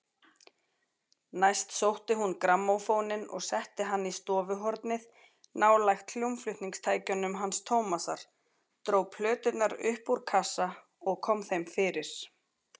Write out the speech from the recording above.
Næst sótti hún grammófóninn og setti hann í stofuhornið nálægt hljómflutningstækjunum hans Tómasar, dró plöturnar upp úr kassa og kom þeim fyrir.